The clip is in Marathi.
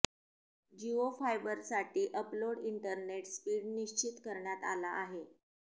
जिओ फायबरसाठी अपलोड इंटरनेट स्पीड निश्चित करण्यात आला आहे